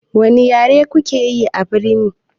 Wani yare kuke yi abirni?